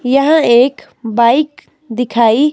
यहां एक बाइक दिखाई--